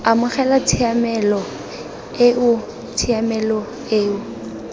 amogela tshiamelo eo tshiamelo eo